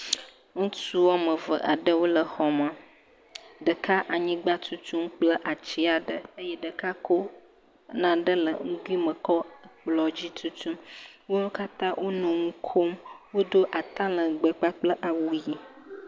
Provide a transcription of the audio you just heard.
Ŋutsu woame ve aɖewo le xɔ me, ɖeka anyigba tutum kple ati aɖe ɖeka ko naɖe le nugoe me kɔ ekplɔ dzi tutum. Wo katã wo nu kom, wodo atalegbe kpakple awu ʋe.